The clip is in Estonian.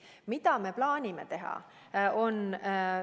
Mida me plaanime teha?